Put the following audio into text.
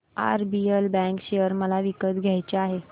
RBL bank share मला विकत घ्यायचे आहेत